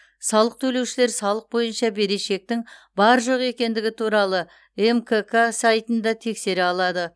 салық төлеушілер салық бойынша берешектің бар жоқ екендігі туралы мкк сайтында тексере алады